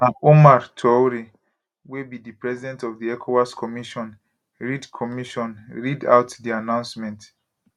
na omar touray wey be di president of di ecowas commission read commission read out di announcement